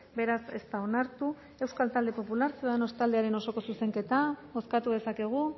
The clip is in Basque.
beraz ez da onartu euskal talde popular ciudadanos taldearen osoko zuzenketa bozkatu dezakegu